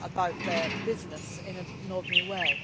about their business in an ordinary way.